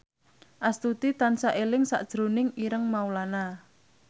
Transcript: Astuti tansah eling sakjroning Ireng Maulana